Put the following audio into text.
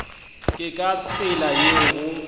ke ka tsela yeo go